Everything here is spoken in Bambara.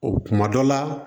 O kuma dɔ la